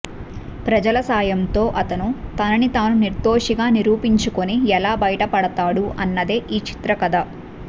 ప్రజల సాయంతో అతను తనని తాను నిర్దోషిగా నిరూపించుకుని ఎలా బయటపడతాడు అన్నదే ఈ చిత్ర కథ